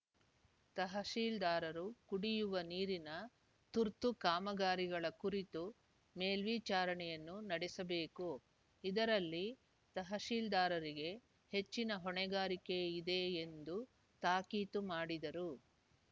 ತಹಸೀಲ್ದಾರರು ಕುಡಿಯುವ ನೀರಿನ ತುರ್ತು ಕಾಮಗಾರಿಗಳ ಕುರಿತು ಮೇಲ್ವಿಚಾರಣೆಯನ್ನು ನಡೆಸಬೇಕು ಇದರಲ್ಲಿ ತಹಸೀಲ್ದಾರರಿಗೆ ಹೆಚ್ಚಿನ ಹೊಣೆಗಾರಿಕೆ ಇದೆ ಎಂದು ತಾಕೀತು ಮಾಡಿದರು